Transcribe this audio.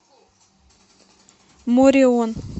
мореон